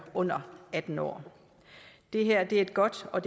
under atten år det her er et godt og